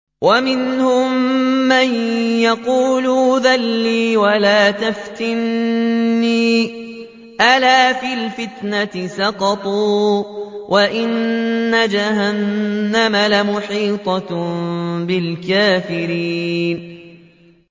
وَمِنْهُم مَّن يَقُولُ ائْذَن لِّي وَلَا تَفْتِنِّي ۚ أَلَا فِي الْفِتْنَةِ سَقَطُوا ۗ وَإِنَّ جَهَنَّمَ لَمُحِيطَةٌ بِالْكَافِرِينَ